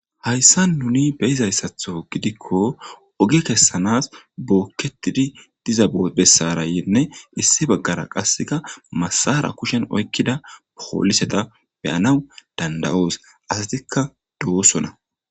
hayssa nuni beyizayssatho gidikko ogi kessanas bookketidi diza bessarayenne issi baggara qasseka masara kushen oykkida poholiseta beyanaw danda7oos asatikka doosona